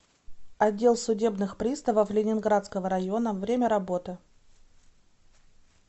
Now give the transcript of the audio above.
отдел судебных приставов ленинградского района время работы